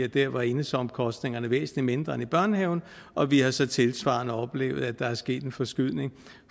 der var enhedsomkostningerne væsentlig mindre end i børnehaven og vi har så tilsvarende oplevet at der er sket en forskydning